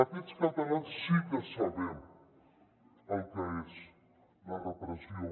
aquests catalans sí que sabem el que és la repressió